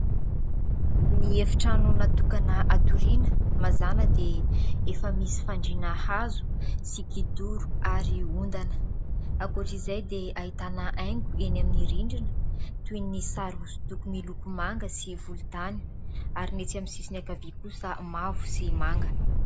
Ny efi-trano natokana atoriana. Mazana dia efa misy fandriana hazo sy kidoro ary ondana. Ankoatra izay dia ahitana haingo eny amin'ny rindrina, toy ny sary hosodoko miloko manga sy volon-tany ary ny etsy amin'ny sisin'ny ankavia kosa mavo sy manga.